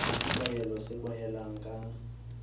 le sekwahelo se kwalehang ka